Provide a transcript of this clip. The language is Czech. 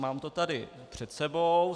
Mám to tady před sebou.